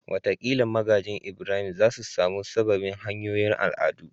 Wataƙila magajin Ibrahim za su sami sababbin hanyoyin al'adu